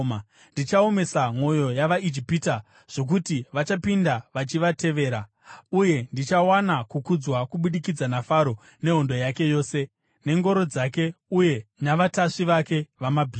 Ndichaomesa mwoyo yavaIjipita zvokuti vachapinda vachivatevera. Uye ndichawana kukudzwa kubudikidza naFaro nehondo yake yose, nengoro dzake uye navatasvi vake vamabhiza.